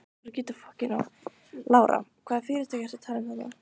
Lára: Hvaða fyrirtæki ertu að tala um þarna?